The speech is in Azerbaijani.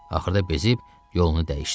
Axırda bezib yolunu dəyişdi.